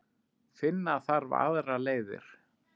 Finna þarf aðrar leiðir.